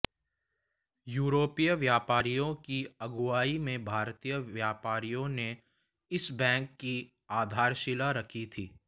यूरोपीय व्यापारियों की अगुवाई में भारतीय व्यापारियों ने इस बैंक की आधारशिला रखी थी